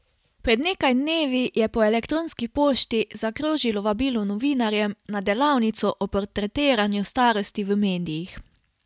Pred nekaj dnevi je po elektronski pošti zakrožilo vabilo novinarjem na delavnico o portretiranju starosti v medijih.